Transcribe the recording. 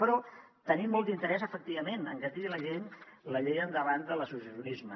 però tenim molt d’interès efectivament en que tiri la llei endavant de l’associacionisme